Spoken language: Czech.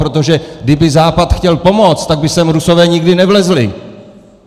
Protože kdyby Západ chtěl pomoct, tak by sem Rusové nikdy nevlezli!